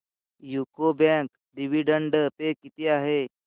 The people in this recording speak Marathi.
यूको बँक डिविडंड पे किती आहे